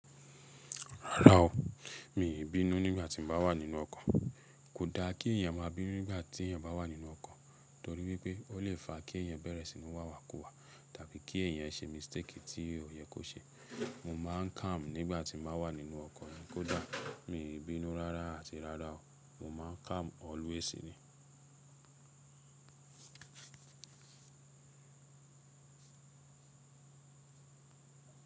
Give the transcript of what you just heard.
Rárá o, mi ò bínú nígbà tí mo bá wà nínú ọkọ̀. Kò da kí èèyàn máa bínú nígbà tí èèyàn bá wà nínú ọkọ̀ torí wípé ó lè fa kí èèyàn bẹ̀rẹ̀ sínú wàwàkuwà tàbí kí èèyàn ṣe mistake tí ó yẹ kó ṣe. Mo máa ń calm nígbà tí n ba wà nínú ọkọ̀ yẹn. Kò da, mi i bínú rárá àti rárá o, mo máa ń calm always ni.